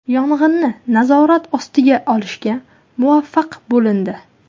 Yong‘inni nazorat ostiga olishga muvaffaq bo‘lindi.